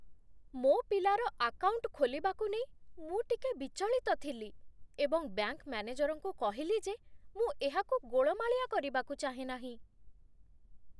ମୋ ପିଲାର ଆକାଉଣ୍ଟ ଖୋଲିବାକୁ ନେଇ ମୁଁ ଟିକେ ବିଚଳିତ ଥିଲି ଏବଂ ବ୍ୟାଙ୍କ ମ୍ୟାନେଜରଙ୍କୁ କହିଲି ଯେ ମୁଁ ଏହାକୁ ଗୋଳମାଳିଆ କରିବାକୁ ଚାହେଁ ନାହିଁ।